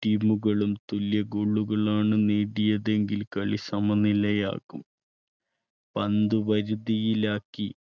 team കളും തുല്യ goal കളാണ് നേടിയതെങ്കിൽ കളി സമനിലയാകും. പന്ത് വരുതിയിലാക്കി